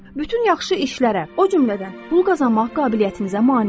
Bütün yaxşı işlərə, o cümlədən pul qazanmaq qabiliyyətinizə mane olur.